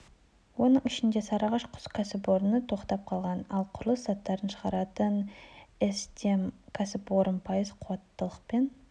оның ішінде сарыағаш құс кәсіпорыны тоқтап қалған ал құрылыс заттарын шығаратын с-дем кәсіпорны пайыз қуаттылықпен